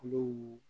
Kulo